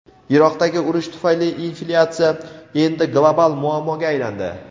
Iroqdagi urush tufayli inflyatsiya endi global muammoga aylandi.